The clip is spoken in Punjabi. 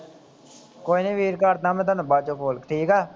ਕੋਈ ਨਾ ਵੀਰ ਕਰਦਾ ਮੈ ਤੁਹਾਨੂੰ ਬਾਅਦ ਚ ਕਾਲ ਠੀਕ ਆ